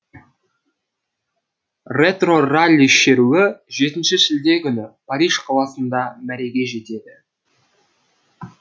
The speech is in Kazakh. ретро ралли шеруі жетінші шілде күні париж қаласында мәреге жетеді